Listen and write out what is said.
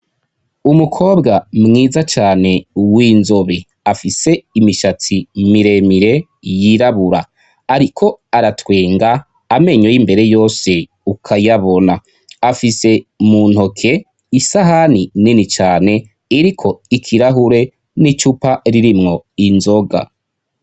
Umukobwa mwiza cane w'inzobe, afise imishatsi miremire yirabura, ariko aratwenga amenyo y'imbere yose ukayabona, afise mu ntoke isahani nini cane iriko ikirahure n'icupa ririmwo inzoga.